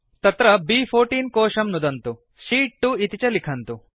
तत्र ब्14 कोशं नुदन्तु शीत् 2 इति च लिखन्तु